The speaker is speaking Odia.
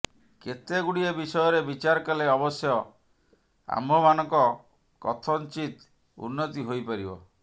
କେତେଗୁଡ଼ିଏ ବିଷୟରେ ବିଚାର କଲେ ଅବଶ୍ୟ ଆମ୍ଭମାନଙ୍କ କଥଞ୍ଚିତ୍ ଉନ୍ନତି ହୋଇପାରିବ